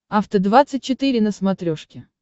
афта двадцать четыре на смотрешке